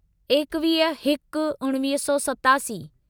एकवीह हिक उणिवीह सौ सतासी